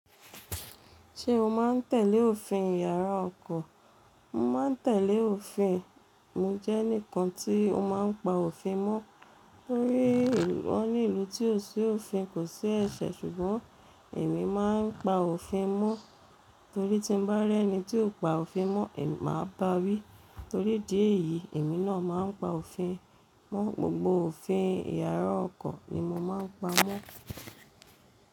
Ṣé o má ń tẹ̀lé òfin ìyàrá ọkọ̀? Mo máa ń tẹ̀lé òfin. Mo jẹ́ ẹnìkan tí ó máa ń pa òfin mọ́. Wọ́n ní i, wọ́n ní ìlú tí ò sí òfin kò sí ẹ̀ṣẹ̀ ṣùgbọ́n èmi má ń pa òfin mo. Torí tí mo bá rí ẹnì tí ò pa òfin mọ́, èmi má ba wí torí ìdí èyìí èmi náà má ń pa òfin mọ́. Gbogbo òfin ìyàrá ọkọ̀ ni mo má ń pa mọ́.